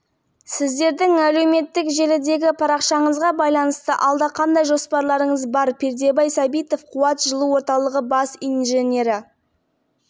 шымкент қаласында үй болатын болса оның үйі иесіз қалған жертөлелерді жылыту үшін қызмет етіп жатырмыз бұрын